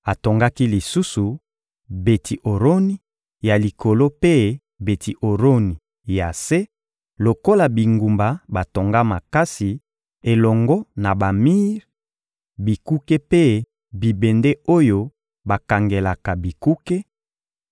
Atongaki lisusu Beti-Oroni ya likolo mpe Beti-Oroni ya se lokola bingumba batonga makasi, elongo na bamir, bikuke mpe bibende oyo bakangelaka bikuke,